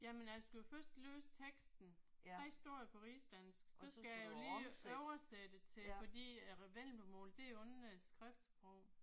Jamen altså jeg skulle jo først læse teksten. Den står jo på rigsdansk så skal jeg jo lige oversætte til fordi at vendelbomål det har jo ingen skriftsprog